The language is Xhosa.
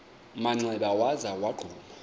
manxeba waza wagquma